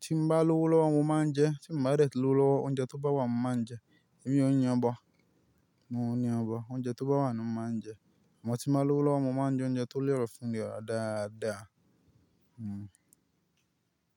tí mo bá lówó lọ́wọ́ mo máa ń jẹ, tí mo bá rẹ̀tí lówó lọ́wọ́ oúnjẹ tó bá wà mo máa ń jẹ, èmi o yan bọ, mo n bọ, oúnjẹ tó bá wà ni mo máa ń jẹ, amọ ti bá lówó lọ́wọ́ mo máa ń jẹ oúnjẹ tó lẹ́rọ̀ fún ìlera dáadáa. Hmm.